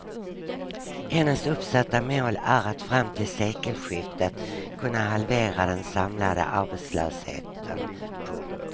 Hennes uppsatta mål är att fram till sekelskiftet kunna halvera den samlade arbetslösheten. punkt